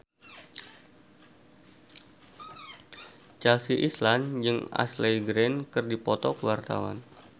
Chelsea Islan jeung Ashley Greene keur dipoto ku wartawan